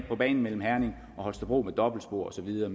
på banen mellem herning og holstebro med dobbeltspor og så videre